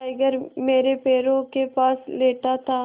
tiger मेरे पैरों के पास लेटा था